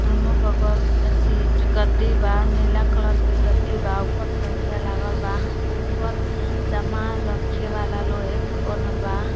दोनों बगल अ सीट गद्दी बा। नीला कलर के गद्दी बा। ऊपर तौलिया बा। ऊपर सामान रखे वाला लोहे का बनल बा।